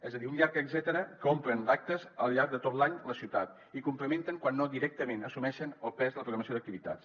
és a dir un llarg etcètera que omple d’actes al llarg de tot l’any la ciutat i complementen quan no directament assumeixen el pes de la programació d’activitats